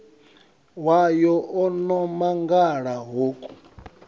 wayo o no mangala hoku